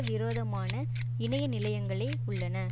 விரோதமான இணைய நிலையங்களை உள்ளன